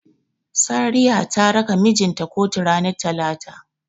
Sariya ta raka mijin ta kotu ranar Talata.